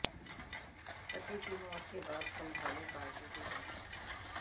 पति की मौत के बाद संभाली पार्टी की कमान